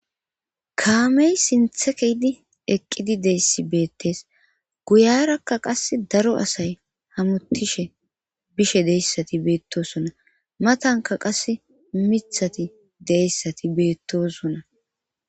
Kaamey sinthe keydi eqqidi deyssi beettes guyarakka qas daro asay hamutishe bishe deyssati beettosona matanka qas mithati deyssati beettosonna.